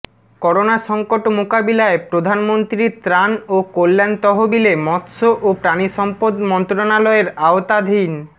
corona সংকট মোকাবিলায় প্রধানমন্ত্রীর ত্রাণ ও কল্যাণ তহবিলে মৎস্য ও প্রাণিসম্পদ মন্ত্রণালয়ের আওতাধ